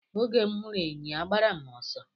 Oge m hụrụ enyi agbara m ọsọ.